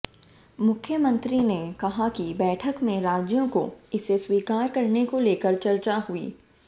मुख्यमंत्री ने कहा कि बैठक में राज्यों को इसे स्वीकार करने को लेकर चर्चा हुई